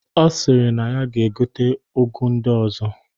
Ọ sịrị na ya ga-egote ụgụ ndị ọzọ